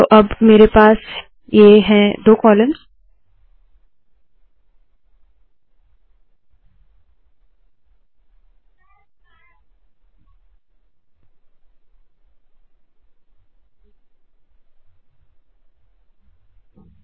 तो अब मेरे पास ये है दो कॉलम्स